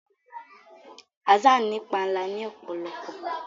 Hassan ní panla ni òpòlopò